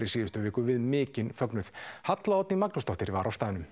í síðustu viku við mikinn fögnuð Halla Oddný Magnúsdóttir var á staðnum